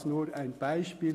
Dies nur ein Beispiel.